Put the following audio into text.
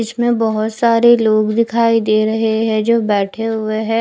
इसमें बोहोत सारे लोग दिखाई दे रहे है जो बेठे हुए है।